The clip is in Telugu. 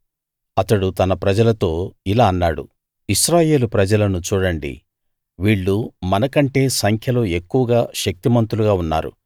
అతడు తన ప్రజలతో ఇలా అన్నాడు ఇశ్రాయేలు ప్రజలను చూడండి వీళ్ళు మనకంటే సంఖ్యలో ఎక్కువగా శక్తిమంతులుగా ఉన్నారు